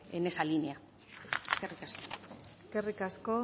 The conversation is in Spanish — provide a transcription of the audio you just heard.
en esa línea eskerrik asko